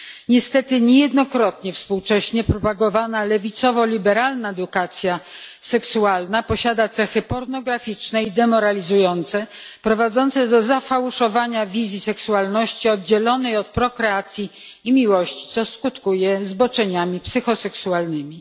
Niestety, niejednokrotnie współcześnie propagowana lewicowo liberalna edukacja seksualna posiada cechy pornograficzne i demoralizujące, prowadzące do zafałszowania wizji seksualności oddzielonej od prokreacji i miłości, co skutkuje zboczeniami psychoseksualnymi.